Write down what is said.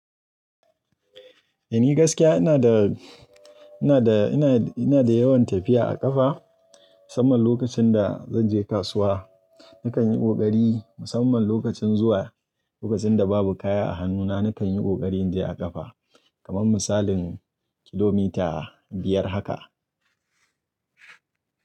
Ni gaskiya ina da, ina da, ina da yawan tafiya a ƙafa musamman lokacin da zan je kasuwa. Nakan yi ƙoƙari musamman lokacin zuwa, lokacin da babu kaya a hannuna nakan yi ƙoƙarin je a ƙafa kaman misalin kilomita biyar haka.